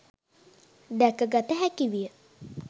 දැකගත හැකිවිය.